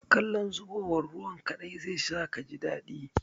Kallon zubowar ruwan kaɗai zai sa kaji daɗi.